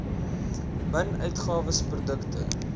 min uitgawes produkte